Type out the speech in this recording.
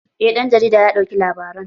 Eh ɗan jarida ya ɗauki labaran